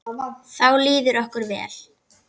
Þá líður okkur vel.